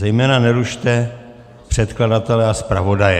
Zejména nerušte předkladatele a zpravodaje...